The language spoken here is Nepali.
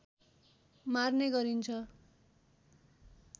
मार्ने गरिन्छ